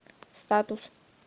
статус